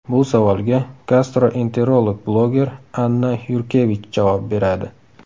Bu savolga gastroenterolog bloger Anna Yurkevich javob beradi.